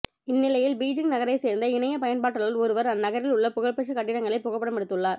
இந்நிலையில் பீஜிங் நகரை சேர்ந்த இணைய பயண்பாட்டாளர் ஒருவர் அந்நகரில் உள்ள புகழ்பெற்ற கட்டிடங்களை புகைப்படம் எடுத்துள்ளார்